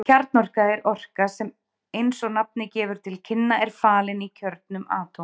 Kjarnorka er orka sem eins og nafnið gefur til kynna er falin í kjörnum atóma.